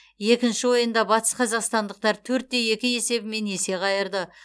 екінші ойында батысқазақстандықтар төрт те екі есебімен есе қайырды